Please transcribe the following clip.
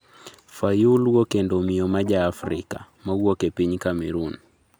"""Fayulu okendo miyo ma jaafrika, mawuok e piny Cameroon."